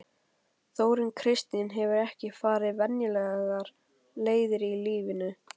Þórunn Kristín hefur ekki farið venjulegar leiðir í lífinu.